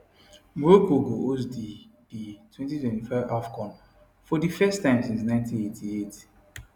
morocco go host di di 2025 afcon for di first time since 1988